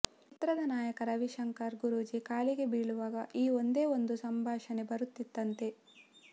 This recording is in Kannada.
ಚಿತ್ರದ ನಾಯಕ ನಟ ರವಿಶಂಕರ್ ಗುರೂಜಿ ಕಾಲಿಗೆ ಬೀಳುವಾಗ ಈ ಒಂದೇ ಒಂದು ಸಂಭಾಷಣೆ ಬರುತ್ತದಂತೆ